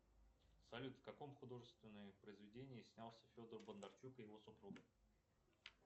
салют в каком художественном произведении снялся федор бондарчук и его супруга